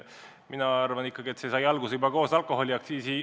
Mina arvan ikkagi kõik see sai alguse kütuseaktsiisi tõstmisest.